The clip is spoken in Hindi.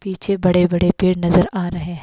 पीछे बड़े बड़े पेड़ नजर आ रहे है।